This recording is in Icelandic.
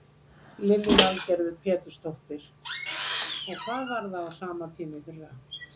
Lillý Valgerður Pétursdóttir: Hvað var það á sama tíma í fyrra?